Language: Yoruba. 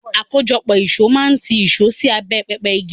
Àkójọpọ̀ ìṣó máa ń tì ìṣó sí abẹ́ pẹpẹ igi.